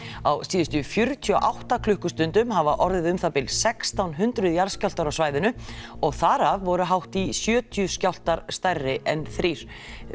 á síðustu fjörutíu og átta klukkustundum hafa orðið um það bil sextán hundruð jarðskjálftar á svæðinu og þar af voru hátt í sjötíu skjálftar stærri en þrír